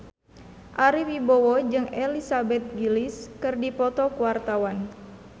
Ari Wibowo jeung Elizabeth Gillies keur dipoto ku wartawan